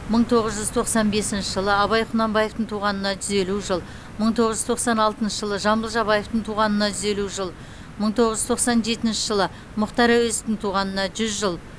мың тоғыз жүз тоқсан бесінші жылы абай құнанбаевтың туғанына жүз елу жыл мың тоғыз жүз тоқсан алтыншы жылы жамбыл жабаевтың туғанына жүз елу жыл мың тоғыз жүз тоқсан жетінші жылы мұхтар әуезовтің туғанына жүз жыл